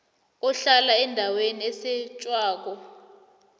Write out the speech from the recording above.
ohlala endaweni esetjhwako